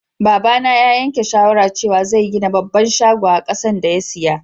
Baba na ya yanke shawara cewa zai gina babban shago a kasan da ya siya.